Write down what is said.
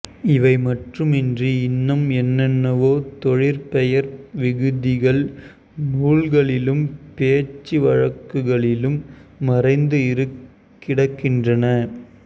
இவை மட்டுமின்றி இன்னும் என்னென்னவோ தொழிற்பெயர் விகுதிகள் நூல்களிலும் பேச்சு வழக்குகளிலும் மறைந்து கிடக்கின்றன